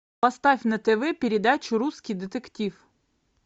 поставь на тв передачу русский детектив